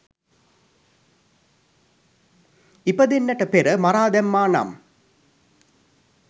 ඉපදෙන්නට පෙර මරා දැම්මානම්